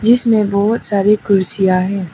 इसमें बहुत सारी कुर्सियां है।